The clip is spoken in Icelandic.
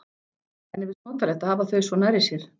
Henni finnst notalegt að hafa þau svo nærri sér.